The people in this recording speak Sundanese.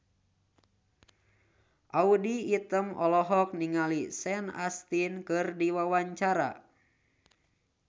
Audy Item olohok ningali Sean Astin keur diwawancara